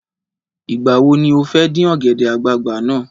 Ìgbà wo ni o fẹ́ dín ọ̀gẹ̀dẹ̀ àgbagbà náà?